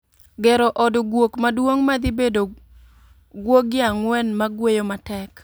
Gero od guok maduong' madhi bedo guogi ang'uen magweyo matek